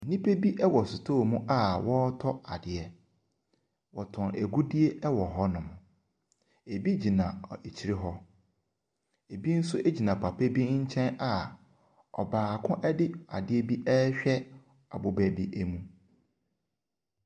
Nnipa bi ɛwɔ sotɔɔ mu a ɔretɔ adeɛ. Ɔtɔn agudie ɛwɔ hɔ nom. Ebi gyina akyire hɔ. Ebi nso gyina papa bi nkyɛn a ɔbaako ɛde adeɛ bi ɛrehwɛ ɛboba bi emu.